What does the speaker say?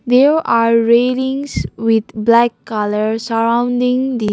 There are railings with black colour surrounding the --